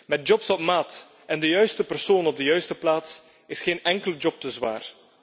Met jobs op maat en de juiste persoon op de juiste plaats, is geen enkele job te zwaar.